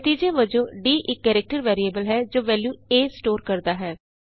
ਨਤੀਜੇ ਵਜੋਂ d ਇਕ ਕਰੈਕਟਰ ਵੇਰੀਐਬਲ ਹੈਜੋ ਵੈਲਯੂ A ਸਟੋਰ ਕਰਦਾ ਹੈ